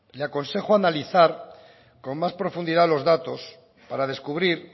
le aconsejo analizar con más profundidad los datos para descubrir